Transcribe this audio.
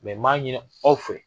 n m'a ɲini aw fɛ.